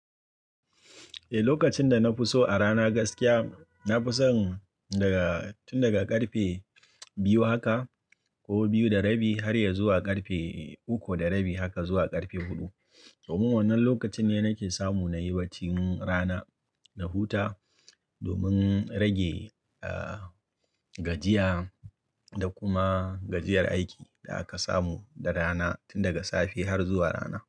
Eh, lokacin da na fi so a rana gaskiya, na fi son daga tun daga ƙarfe biyu haka ko biyu da rabi har ya zuwa ƙarfe uku da rabi haka zuwa ƙarfe huɗu. Domin wannan lokaci ne nake samu na yi bacin rana na huta domin rage, ah, gajiya da kuma gajiyar aiki da aka samu da rana tun daga safe har zuwa rana.